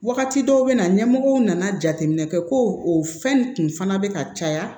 Wagati dɔw bɛ na ɲɛmɔgɔw nana jateminɛ kɛ ko o fɛn kun fana bɛ ka caya